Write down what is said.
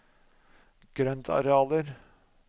grøntarealer